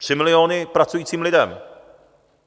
Tři miliony pracujícím lidem!